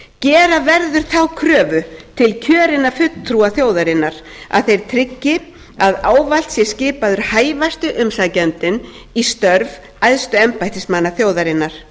gera verður þá kröfu til kjörinna fulltrúa þjóðarinnar að þeir tryggi að ávallt sé skipaður hæfasti umsækjandinn í störf æðstu embættismanna þjóðarinnar